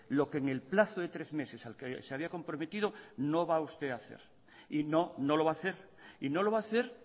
lo que en el plazo de tres meses al que se había comprometido no va a usted a hacer y no no lo va a hacer y no lo va a hacer